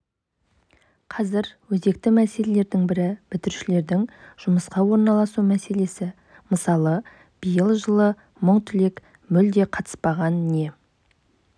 қазір өзекті мәселелердің бірі бітірушілердің жұмысқа орналасу мәселесі мысалы биыл жылы мың түлек мүлде қатыспаған не